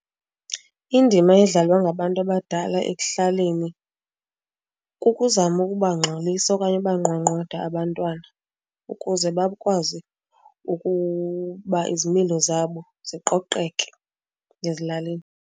Indima edlalwa ngabantu abadala ekuhlaleni kukuzama ukubangxolisa okanye ubanqwanqwada abantwana ukuze bakwazi ukuba izimilo zabo ziqoqeke ezilalini.